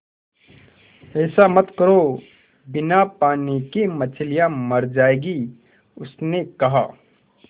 ऐसा मत करो बिना पानी के मछलियाँ मर जाएँगी उसने कहा